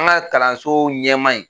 An ga kalanso ɲɛmaa in